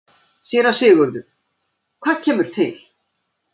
SÉRA SIGURÐUR: Hvað kemur til?